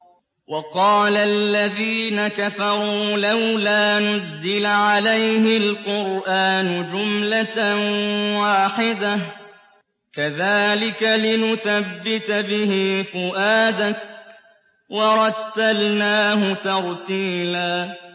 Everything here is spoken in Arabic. وَقَالَ الَّذِينَ كَفَرُوا لَوْلَا نُزِّلَ عَلَيْهِ الْقُرْآنُ جُمْلَةً وَاحِدَةً ۚ كَذَٰلِكَ لِنُثَبِّتَ بِهِ فُؤَادَكَ ۖ وَرَتَّلْنَاهُ تَرْتِيلًا